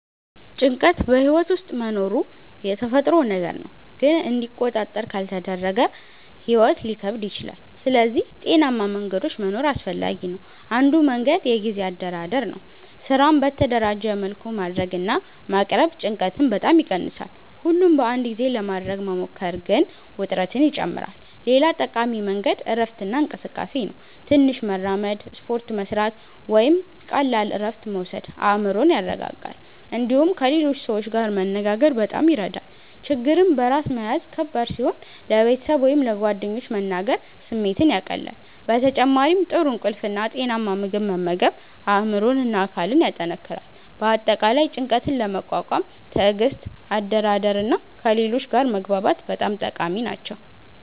ጭንቀት በሕይወት ውስጥ መኖሩ የተፈጥሮ ነገር ነው፣ ግን እንዲቆጣጠር ካልተደረገ ሕይወት ሊከብድ ይችላል። ስለዚህ ጤናማ መንገዶች መኖር አስፈላጊ ነው። አንዱ መንገድ የጊዜ አደራደር ነው። ስራን በተደራጀ መልኩ ማድረግ እና ማቅረብ ጭንቀትን በጣም ይቀንሳል። ሁሉን በአንድ ጊዜ ለማድረግ መሞከር ግን ውጥረትን ይጨምራል። ሌላ ጠቃሚ መንገድ እረፍት እና እንቅስቃሴ ነው። ትንሽ መራመድ፣ ስፖርት መስራት ወይም ቀላል እረፍት መውሰድ አእምሮን ያረጋጋል። እንዲሁም ከሌሎች ሰዎች ጋር መነጋገር በጣም ይረዳል። ችግርን በራስ መያዝ ከባድ ሲሆን ለቤተሰብ ወይም ለጓደኞች መናገር ስሜትን ያቀላል። በተጨማሪም ጥሩ እንቅልፍ እና ጤናማ ምግብ መመገብ አእምሮን እና አካልን ያጠናክራል። በአጠቃላይ ጭንቀትን ለመቋቋም ትዕግስት፣ አደራደር እና ከሌሎች ጋር መግባባት በጣም ጠቃሚ ናቸው።